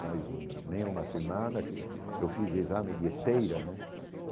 Faz hum nem uma semana que eu fiz exame de esteira, né?